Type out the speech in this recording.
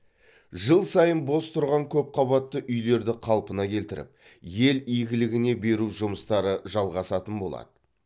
жыл сайын бос тұрған көпқабатты үйлерді қалпына келтіріп ел игілігіне беру жұмыстары жалғасатын болады